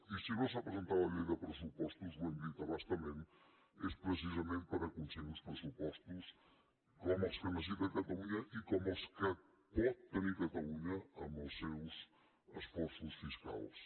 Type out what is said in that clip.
i si no s’ha presentat la llei de pressupostos ho hem dit a bastament és precisament per aconseguir uns pressupostos com els que necessita catalunya i com els que pot tenir catalunya amb els seus esforços fiscals